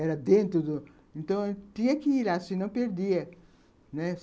Era dentro do... Então, tinha que ir lá, senão perdia, né